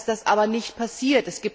Leider ist das aber nicht passiert.